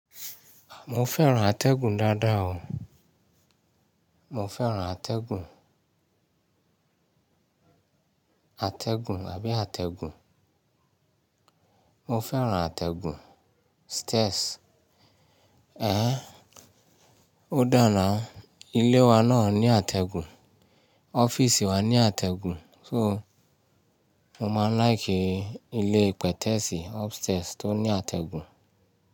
Mo fẹ́ràn atẹ́gùn dáadáa o. Mo fẹ́ràn atẹ́gùn, atẹ́gùn àbí àtẹ̀gùn. Mo fẹ́ràn atẹ́gùn stairs. Ó dàná ilé wa náà ní atẹ́gùn, ọ́fíìsì wa ní atẹ́gùn. So, mo máa ń láìkì ilé pètẹ̀sì upstairs tó ní atẹ́gùn.